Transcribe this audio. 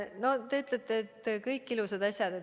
No te ütlete, et siin on kõik ilusad asjad.